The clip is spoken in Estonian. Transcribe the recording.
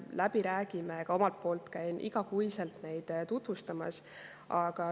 Ka käin iga kuu neid tutvustamas.